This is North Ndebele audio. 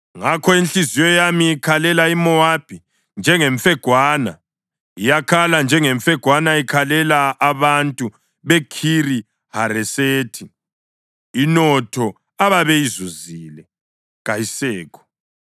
“Ngakho inhliziyo yami ikhalela iMowabi njengemfegwana; iyakhala njengemfegwana ikhalela abantu beKhiri-Haresethi. Inotho ababeyizuzile kayisekho.